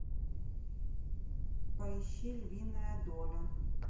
поищи львиная доля